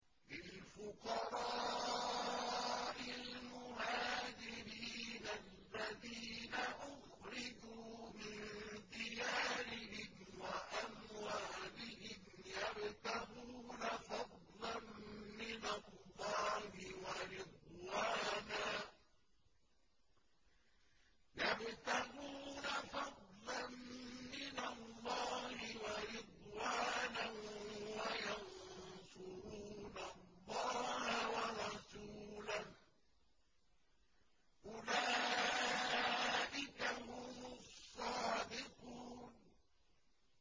لِلْفُقَرَاءِ الْمُهَاجِرِينَ الَّذِينَ أُخْرِجُوا مِن دِيَارِهِمْ وَأَمْوَالِهِمْ يَبْتَغُونَ فَضْلًا مِّنَ اللَّهِ وَرِضْوَانًا وَيَنصُرُونَ اللَّهَ وَرَسُولَهُ ۚ أُولَٰئِكَ هُمُ الصَّادِقُونَ